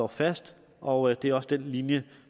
fast og det er også den linje